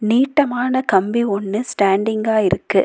நீட்டமான கம்பி ஒன்னு ஸ்டேண்டிங்கா இருக்கு.